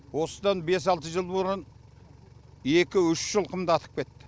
осыдан бес алты жыл бұрын екі үш жылқымды атып кетті